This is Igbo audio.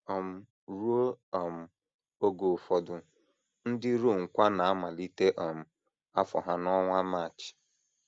um Ruo um oge ụfọdụ, ndị Rom kwa na - amalite um afọ ha n’ọnwa March.